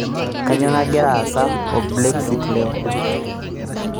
kainyio nagira aasa o blexit leo